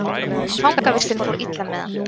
Fangavistin fór illa með hann.